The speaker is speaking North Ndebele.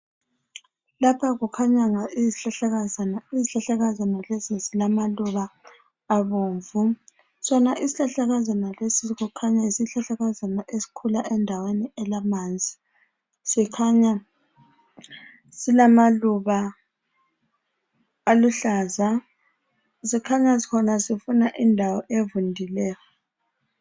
Lapha kukhanya izihlahlakazana, izihlahlakazana lezi zilamaluba abomvu. Sona isihlahlakazana lesi kukhanya yisihlahlakazana esikhula endaweni elamanzi. Sikhanya silamaluba aluhlaza, sikhanya sona sifuna indawo evundileyo.